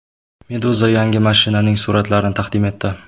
Meduza yangi mashinaning suratlarini taqdim etdi .